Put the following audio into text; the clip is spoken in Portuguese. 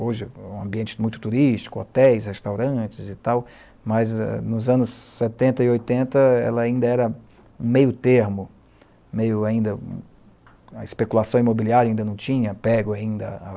Hoje, é um ambiente muito turístico, hotéis, restaurantes e tal, mas, nos anos setenta e oitenta, ela ainda era meio termo, meio ainda... a especulação imobiliária ainda não tinha pego ainda à